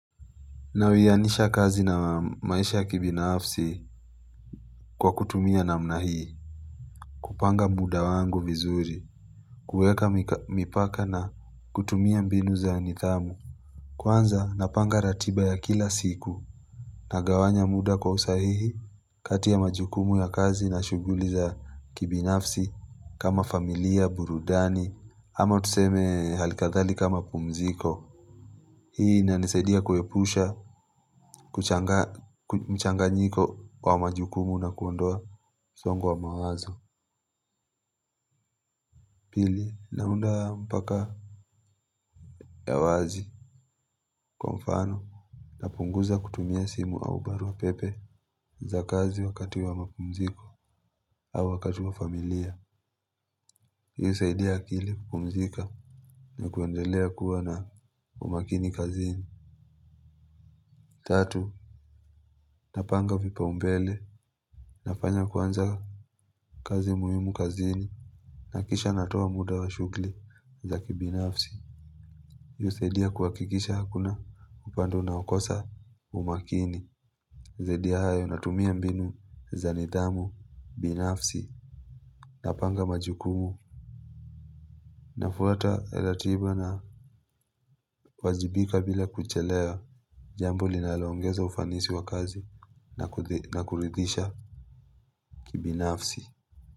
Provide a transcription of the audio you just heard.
Na uyanisha kazi na maisha ya kibinafsi kwa kutumia namna hii, kupanga muda wangu vizuri, kueka mipaka na kutumia mbinu za nithamu. Kwanza napanga ratiba ya kila siku nagawanya muda kwa usahihi, kati ya majukumu ya kazi na shuguli za kibinafsi kama familia, burudani, ama tuseme halikathalika mapumziko. Hii ina ni saidia kuepusha, mchanganyiko wa majukumu na kuondoa msongo wa mawazo. Pili, naunda mpaka ya wazi. Kwa mfano, napunguza kutumia simu au barua pepe za kazi wakati wa mapumziko au wakati wa familia. Husaidia akili kupumzika na kuendelea kuwa na umakini kazini. Tatu, napanga vipaumbele. Nafanya kwanza kazi muhimu kazini. Na kisha natoa muda wa shughli za kibinafsi husaidia kuhakikisha hakuna upande unaokosa umakini. Zaidi ya hayo natumia mbinu za nidhamu, binafsi, napanga majukumu. Nafuata ratiba na wajibika bila kuchelewa. Jambo linalo ongeza ufanisi wa kazi na kuridhisha kibinafsi.